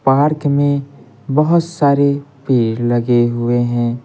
Park में बहुत सारे पेर लगे हुए हैं।